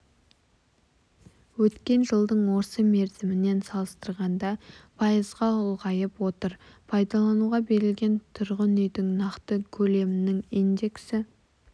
өткен жылдың осы мерзімімен салыстырғанда пайызға ұлғайып отыр пайдалануға берілген тұрғын үйдің нақты көлемінің индексі